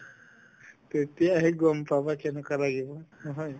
তেতিয়াহে গম পাবা কেনেকুৱা লাগিব নহয়